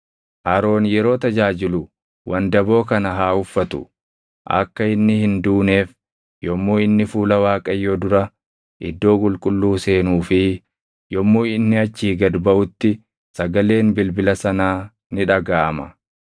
Aroon yeroo tajaajilu wandaboo kana haa uffatu; akka inni hin duuneef yommuu inni fuula Waaqayyoo dura iddoo qulqulluu seenuu fi yommuu inni achii gad baʼutti sagaleen bilbila sanaa ni dhagaʼama.